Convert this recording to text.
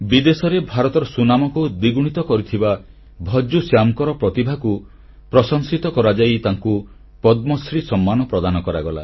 ବିଦେଶରେ ଭାରତର ସୁନାମକୁ ଦ୍ୱିଗୁଣିତ କରିଥିବା ଭଜ୍ଜୁ ଶ୍ୟାମଙ୍କ ପ୍ରତିଭାର ପ୍ରଶଂସା ସ୍ୱରୂପ ତାଙ୍କୁ ପଦ୍ମଶ୍ରୀ ସମ୍ମାନ ପ୍ରଦାନ କରାଗଲା